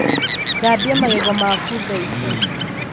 Thambia magego maku thaici